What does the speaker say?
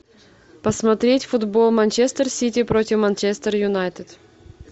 посмотреть футбол манчестер сити против манчестер юнайтед